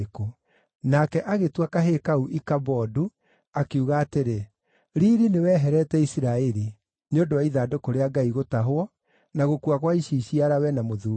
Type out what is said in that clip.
Nake agĩtua kahĩĩ kau Ikabodu, akiuga atĩrĩ, “Riiri nĩweherete Isiraeli,” nĩ ũndũ wa ithandũkũ rĩa Ngai gũtahwo, na gũkua gwa iciciarawe na mũthuuriwe.